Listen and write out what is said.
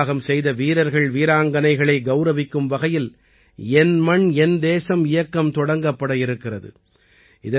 உயிர்த்தியாகம் செய்த வீரர்கள் வீராங்கனைகளை கௌரவிக்கும் வகையில் என் மண் என் தேசம் இயக்கம் தொடங்கப்பட இருக்கிறது